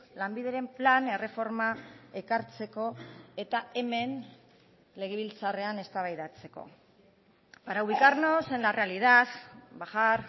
lanbideren plan erreforma ekartzeko eta hemen legebiltzarrean eztabaidatzeko para ubicarnos en la realidad bajar